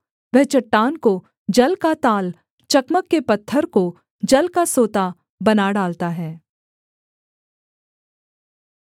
वह चट्टान को जल का ताल चकमक के पत्थर को जल का सोता बना डालता है